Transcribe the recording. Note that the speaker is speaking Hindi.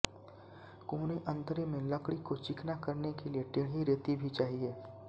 कोने अँतरे में लकड़ी को चिकना करने के लिए टेढ़ी रेती भी चाहिए